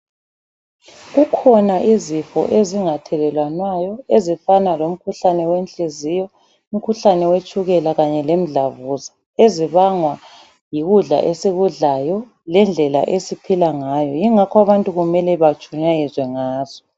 Kukhona izifo ezingathelelwanayo ezifana lomkhuhlane wenhliziyo, umkhuhlane wetshukela kanye lemdlavuza ezibangwa yikudla esikudlayo lendlela esiphila ngayo yingakho abantu kumele batshumayezwe ngazo.